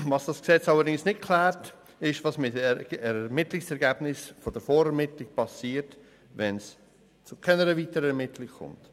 Was das Gesetz allerdings nicht klärt, ist, was mit den Ermittlungsergebnissen der Vorermittlung passiert, wenn es zu keiner weiteren Ermittlung kommt.